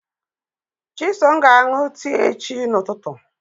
Chisom ga-aṅụ tii echi ụtụtụ.